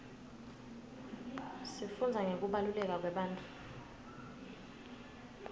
sifundza ngekubaluleka kwebantfu